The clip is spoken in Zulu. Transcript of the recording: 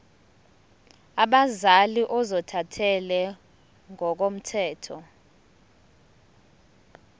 abazali ozothathele ngokomthetho